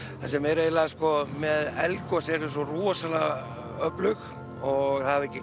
það sem meira er með eldgos þau eru svo rosalega öflug og það hafa